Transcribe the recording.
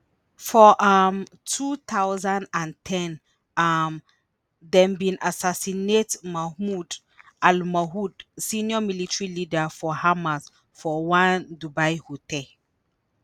for um 2010 um dem bin assassinate mahmoud al-mabhouh senior military leader for hamas for one dubai hotel.